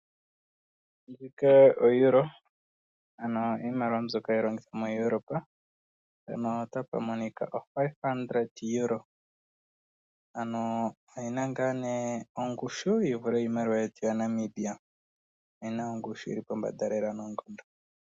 Ndjika oEuro, ano iimaliwa mbyoka hayi longithwa moEuropa. Ndjika ooEuro omathele gatano, ano oyi na ongushu yi vule iimaliwa yetu yaNamibia. OEuro oyi na ongushu yi li pombanda noonkondo.